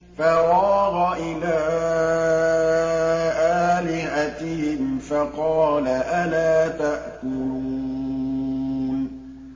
فَرَاغَ إِلَىٰ آلِهَتِهِمْ فَقَالَ أَلَا تَأْكُلُونَ